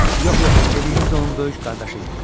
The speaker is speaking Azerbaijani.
Yox, yox, dediyiniz onun böyük qardaşı idi.